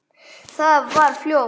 Það vex fljótt.